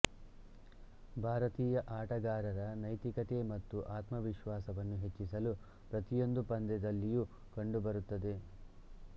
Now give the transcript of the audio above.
ಭಾರತೀಯ ಆಟಗಾರರ ನೈತಿಕತೆ ಮತ್ತು ಆತ್ಮವಿಶ್ವಾಸವನ್ನು ಹೆಚ್ಚಿಸಲು ಪ್ರತಿಯೊಂದು ಪಂದ್ಯದಲ್ಲಿಯೂ ಕಂಡುಬರುತ್ತದೆ